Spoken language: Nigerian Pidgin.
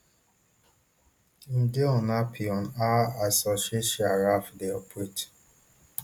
im dey unhappy on how asociatia ralf deu operate